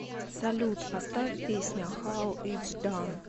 салют поставь песня хау итс дан